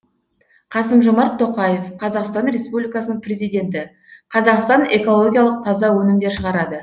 қасым жомарт тоқаев қазақстан республикасының президенті қазақстан экологиялық таза өнімдер шығарады